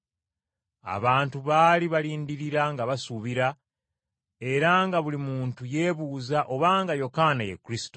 Abantu baali balindirira nga basuubira, era nga buli muntu yeebuuza obanga Yokaana ye Kristo.